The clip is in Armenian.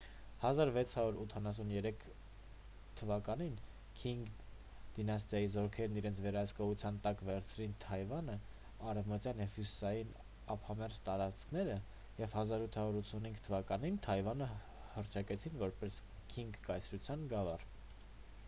1683 թվականին քինգ դինաստիայի 1644-1912 զորքերն իրենց վերահսկողության տակ վերցրին թայվանի արևմտյան և հյուսիսային ափամերձ տարածքները և 1885 թվականին թայվանը հռչակեցին որպես քինգ կայսրության գավառ: